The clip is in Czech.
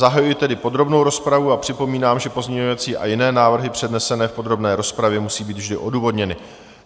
Zahajuji tedy podrobnou rozpravu a připomínám, že pozměňovací a jiné návrhy přednesené v podrobné rozpravě musí být vždy odůvodněny.